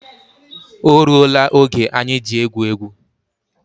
O rụọ la oge anyị ji egwu égwu